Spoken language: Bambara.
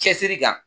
Cɛsiri kan